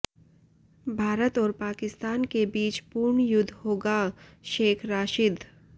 भारत और पाकिस्तान के बीच पूर्ण युद्ध होगाः शेख राशिद